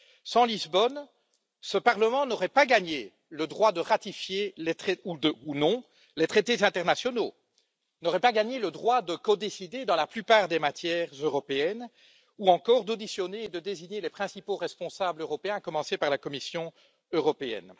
Sans Lisbonne, ce Parlement n'aurait pas gagné le droit de ratifier ou non les traités internationaux, il n'aurait pas gagné le droit de codécider, dans la plupart des matières européennes, ou encore d'auditionner et de désigner les principaux responsables européens, à commencer par la Commission européenne.